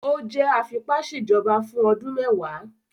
O jẹ afipaṣejọba fun ọdun mẹwa